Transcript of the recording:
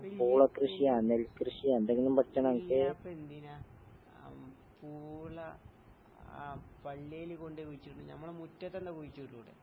വല്യാപ്പെന്തിനാ അം പൂള ആ പള്ളീല് കൊണ്ടോയ് കുഴിച്ചിടണേ? ഞമ്മളെ മുറ്റത്തെന്താ കുഴിച്ചിട്ടൂടെ?